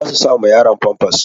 Za su sa ma yaron famfas.